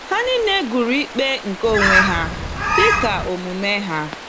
Ha niile gụrụ ikpe nke onwe ha dịka omume ha.